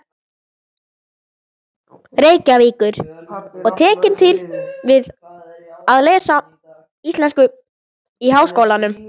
Reykjavíkur og tekin til við að lesa íslensku í Háskólanum.